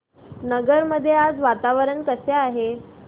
नगर मध्ये आज वातावरण कसे आहे